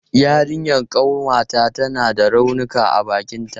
Yarinyan ƙanwata tana da raunuka a bakinta.